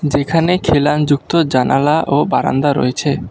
যেখানে খিলানযুক্ত জানালা ও বারান্দা রয়েছে।